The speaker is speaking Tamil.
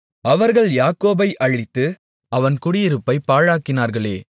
அவர்கள் யாக்கோபை அழித்து அவன் குடியிருப்பைப் பாழாக்கினார்களே